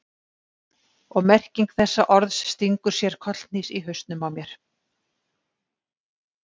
Og merking þessa orðs stingur sér kollhnís í hausnum á mér.